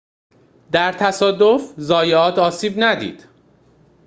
در تصادف زایات آسیب ندید